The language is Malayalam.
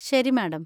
ശരി, മാഡം.